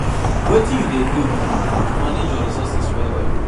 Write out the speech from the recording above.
Wetin you dey do to manage your resources well well?